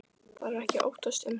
Þarf ekki að óttast um hana.